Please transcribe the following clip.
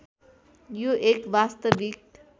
यो एक वास्तविक